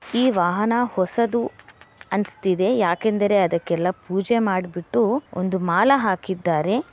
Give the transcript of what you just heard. ಈ ವಾಹನ ಹೊಸದು ಅನಿಸ್ತಿದೆ ಯಾಕಂದ್ರೆ ಅದಕ್ಕೆ ಪೂಜೆ ಮಾಡ್ಬಿಟ್ಟು ಒಂದು ಮಾಲೆ ಹಾಕಿದ್ದಾರೆ.